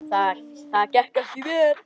Það gekk ekki vel.